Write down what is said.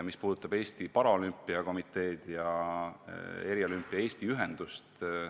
See puudutab Eesti Paralümpiakomiteed ja Eriolümpia Eesti Ühendust.